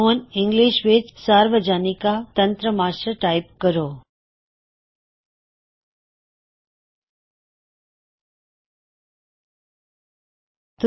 ਹੁਣ ਇੰਗਲਿਸ਼ ਵਿੱਚ ਸਰਵਾਜਨਿਕਾ ਤਨਤ੍ਰਾਮਸ਼ਾਸਾਰਵਜਨਿਕਾ ਤੰਤਰਾਮਸ਼ਾਟਾਇਪ ਕਰੋ